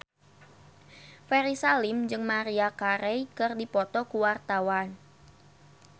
Ferry Salim jeung Maria Carey keur dipoto ku wartawan